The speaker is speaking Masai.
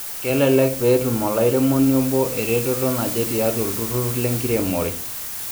Kelelek pee etum olairemoni obo eretoto naje tiatua olturrur lenkiremore.